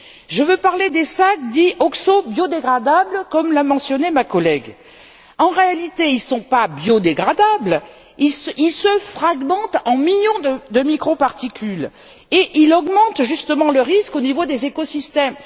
Je veux parler des sacs dits oxobiodégradables, comme les a mentionnés ma collègue. En réalité, ils ne sont pas biodégradables ils se fragmentent en millions de microparticules et ils augmentent, justement, le risque au niveau des écosystèmes.